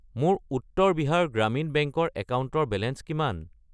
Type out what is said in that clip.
মোৰ উত্তৰ বিহাৰ গ্ৰামীণ বেংক ৰ একাউণ্টৰ বেলেঞ্চ কিমান?